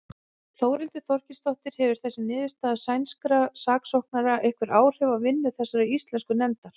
Þórhildur Þorkelsdóttir: Hefur þessi niðurstaða sænskra saksóknara einhver áhrif á vinnu þessarar íslensku nefndar?